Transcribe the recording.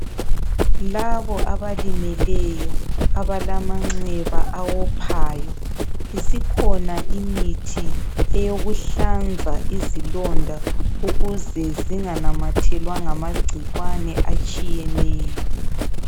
Labo abalimeleyo abalamanxeba awophayo, isikhona imithi eyokuhlanza izilonda ukuze zinganamathelwa ngamagciwane atshiyeneyo.